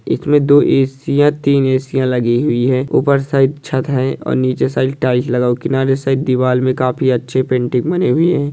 इसमें दो एसिया तीन एसिया लगी हुई हैं ऊपर साइड छत है और नीची साइड टाइल्स लगा हुआ किनारे साइड दीवार में काफी अच्छी पेंटिंग बनी हुई है।